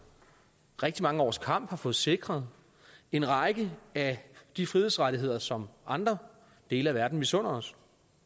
rigtig mange års kamp har fået sikret en række af de frihedsrettigheder som andre dele af verden misunder os